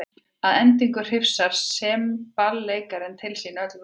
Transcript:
Að endingu hrifsar semballeikarinn til sín öll völd.